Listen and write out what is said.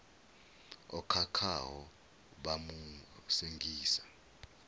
o khakhaho vha mu sengisa